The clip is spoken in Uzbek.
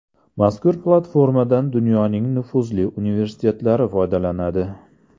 Mazkur platformadan dunyoning nufuzli universitetlari foydalanadi.